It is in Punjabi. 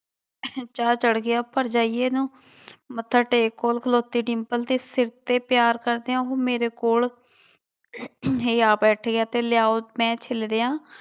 ਚਾਅ ਚੜ੍ਹ ਗਿਆ ਭਰਜਾਈਏ ਨੂੰ ਮੱਥਾ ਟੇਕ ਕੋਲ ਖਲੋਤੀ ਡਿੰਪਲ ਦੇ ਸਿਰ ਤੇ ਪਿਆਰ ਕਰਦਿਆਂ ਹੁਣ ਮੇਰੇ ਕੋਲ ਹੀ ਆ ਬੈਠੀ ਹੈ ਤੇ ਲਿਆਓ ਮੈਂ ਛਿਲ ਦਿਆਂ।